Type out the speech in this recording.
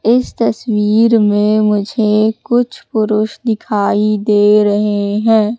इस तस्वीर में मुझे कुछ पुरुष दिखाई दे रहे है।